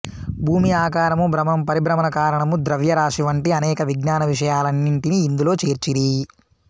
భూమి ఆకారము భ్రమణం పరిభ్రమణ కారణము ద్రవ్యరాశి వంటి అనేక విజ్ఞాన విషయాలన్నింటినీ ఇందులో చేర్చిరి